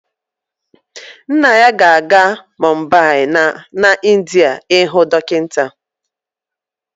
Nna ya ga-aga Mumbai n'India ịhụ dọkịta